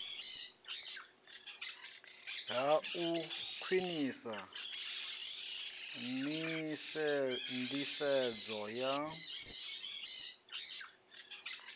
ha u khwinisa nḓisedzo ya